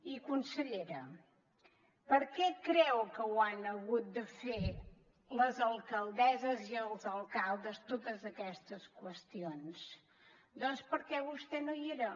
i consellera per què creu que ho han hagut de fer les alcaldesses i els alcaldes totes aquestes qüestions doncs perquè vostè no hi era